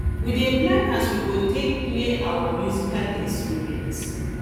we dey plan as we go take play our musical instruments